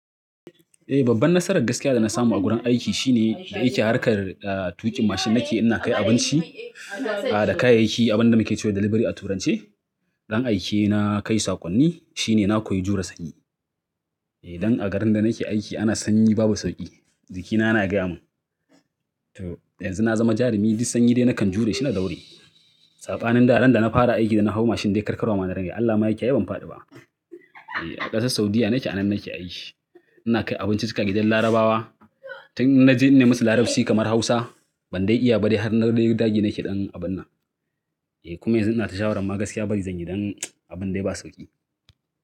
Eh, babban nasarar gaskiya da na samu a gurin aiki shine da yake harkar tuƙin mashin nake ina kai abinci da kayayyaki, abin da muke ce wa delivery a turance. Dan aike na kai sakonni shine na koyi jure sanyi. Eh, dan a garin da nake aiki ana sanyi babu sauƙi, jikina yana gaya mun. To yanzu na zama jarumi, duk sanyi dai nakan jure shi na daure. Sabanin da din da na fara aiki da na hau mashin dai karkarwa ma na rigayi. Allah ma yakiyaye ban faɗi ba. A ƙasar Saudiyya nake a nan nake aiki. Ina kai abinci cikin gidan Larabawa. Tun na ji ne musu Larabci kamar Hausa, ban dai iya ba har na ɗaiɗage nake ɗan abun nan. Eh, kuma yanzu ina tashawar ma gaskiya bari zanyi dan abun dai ba sauƙi.